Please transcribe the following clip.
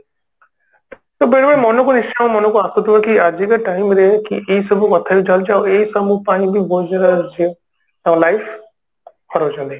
ଆଉ ବେଳେ ବେଳେ ମନକୁ ନିଶ୍ଚୟ ମନକୁ ଆସୁଥିବ କି ଆଜିକା time ରେ ଈ ସବୁ କଥା ବି ଚାଲୁଛି ଆଉ ଈ ସବୁ ପାଇଁ ବି ବହୁତ ସାରା ଝିଅ ତା life ହରଉଛନ୍ତି